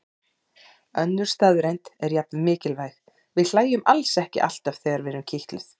Önnur staðreynd er jafn mikilvæg: Við hlæjum alls ekki alltaf þegar við erum kitluð.